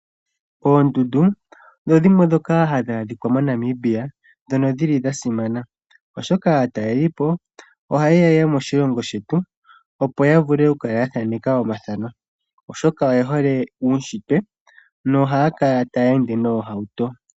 Oondundu odho dhimwe ndhoka ha dhi adhika moNamibia nodha simana, oshoka aatalelipo oha ye ya moshilongo shetu opo yavule oku thaaneka omathano oshoka oye hole uushitwe noha ya kala ta ya ende noohauto.